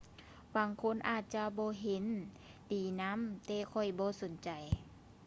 ບາງຄົນອາດຈະບໍ່ເຫັນດີນຳແຕ່ຂ້ອຍບໍ່ສົນໃຈ